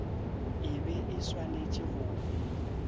e be e swanetše go